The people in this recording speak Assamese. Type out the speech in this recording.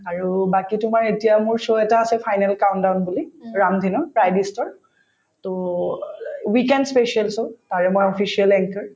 আৰু বাকি তোমাৰ এতিয়া মোৰ show এটা আছে বুলি to weekend special show আৰু মই official anchor